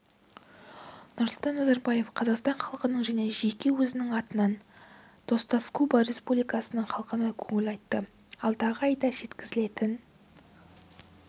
нұрсұлтан назарбаев қазақстан халқының және жеке өзінің атынан достаскуба республикасының халқына көңіл айтты алдағы айда жеткізілетін